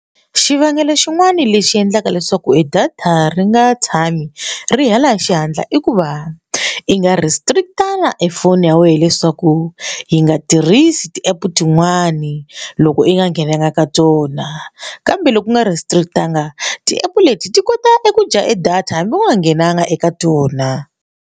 Xivangelo xin'wani lexi endlaka leswaku e data ri nga tshami ri hela hi xihatla i ku va i nga restrict-anga e foni ya wena leswaku yi nga tirhisi ti app tin'wani loko i nga nghenanga ka tona kambe loko u nga restrict-angi ti app leti ti kota eku dya e data hambi ku nga nghenanga eka tona.